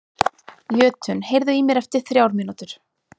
Jötunn, heyrðu í mér eftir þrjár mínútur.